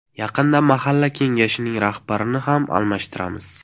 Yaqinda Mahalla kengashining rahbarini ham almashtiramiz.